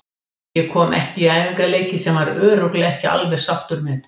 Ég kom ekki í æfingaleiki sem hann var örugglega ekki alveg sáttur með.